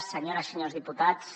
senyores i senyors diputats